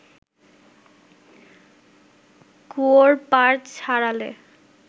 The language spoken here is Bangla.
কুয়োর পাড় ছাড়ালে